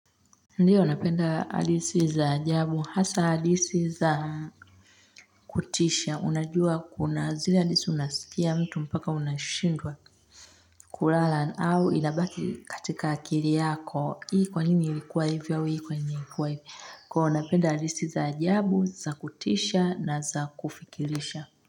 Ndiyo napenda hadithi za ajabu. Hasa hadithi za kutisha. Unajua kuna zile hadithi unasikia mtu mpaka unashindwa kulala au inabaki katika akiri yako. Hii kwa nini ilikuwa hivi au hii kwa nini ilikuwa hivi. Kwa iyo napenda hadithi za ajabu, za kutisha na za kufikirisha.